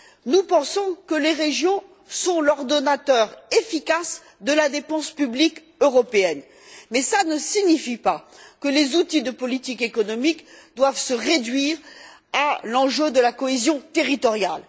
Nous pensons que les régions sont l'ordonnateur efficace de la dépense publique européenne. Mais ça ne signifie pas que les outils de politique économique doivent se réduire à l'enjeu de la cohésion territoriale.